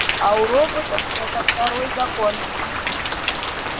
а у роботов это второй закон